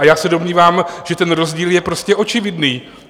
A já se domnívám, že ten rozdíl je prostě očividný.